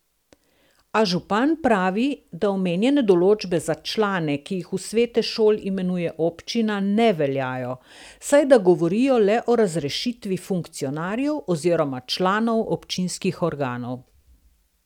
A župan pravi, da omenjene določbe za člane, ki jih v svete šol imenuje občina, ne veljajo, saj da govorijo le o razrešitvi funkcionarjev oziroma članov občinskih organov.